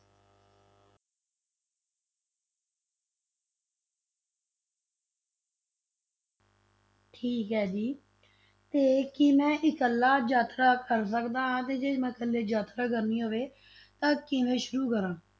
ਠੀਕ ਹੈ ਜੀ, ਤੇ ਕੀ ਮੈਂ ਇਕੱਲਾ ਯਾਤਰਾ ਕਰ ਸਕਦਾ ਹਾਂ ਤੇ ਜੇ ਮੈਂ ਇਕੱਲੇ ਯਾਤਰਾ ਕਰਨੀ ਹੋਵੇ ਤਾਂ ਕਿਵੇਂ ਸ਼ੁਰੂ ਕਰਾਂ?